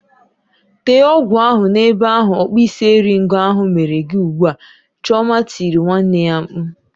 Tee ọgwụ ahụ n'ebe ahụ ọkpụisieringo ahụ mere gị ugbu a! "Chioma tirile nwanne ya mkpu.